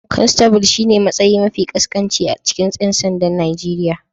Constable shine matsayi mafi ƙasƙanci a cikin 'yan sandan Najeriya